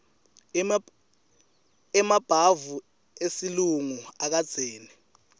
emabhavu esilungu ekugezela